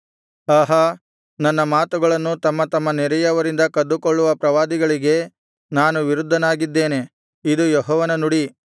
ಆಹಾ ನನ್ನ ಮಾತುಗಳನ್ನು ತಮ್ಮ ತಮ್ಮ ನೆರೆಯವರಿಂದ ಕದ್ದುಕೊಳ್ಳುವ ಪ್ರವಾದಿಗಳಿಗೆ ನಾನು ವಿರುದ್ಧನಾಗಿದ್ದೇನೆ ಇದು ಯೆಹೋವನ ನುಡಿ